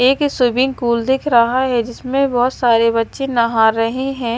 एक swimming pool दिख रहा है जिसमें बहुत सारे बच्चे नहा रहे हैं।